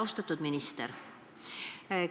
Austatud minister!